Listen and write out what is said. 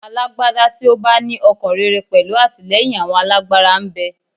Alágbádá tí ó bá ní ọkàn rere pẹ̀lú àtìlẹ́yìn àwọn alágbára ń bẹ.